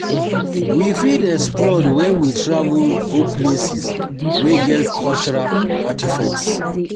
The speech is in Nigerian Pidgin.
we fit explore when we travel go places wey get cultural artefacts